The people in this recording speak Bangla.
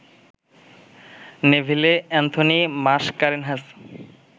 Neville Anthony Mascarenhas